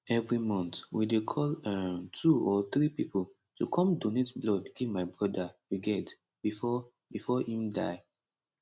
evri month we dey call um two or three pipo to come donate blood give my broda um bifor bifor im die